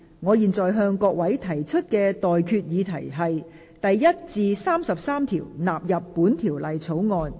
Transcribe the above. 我現在向各位提出的待決議題是：第1至33條納入本條例草案。